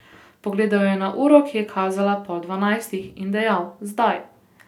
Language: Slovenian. Pogledal je na uro, ki je kazala pol dvanajstih in dejal: 'Zdaj.